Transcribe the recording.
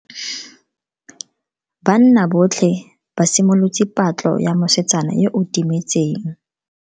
Banna botlhe ba simolotse patlo ya mosetsana yo o timetseng.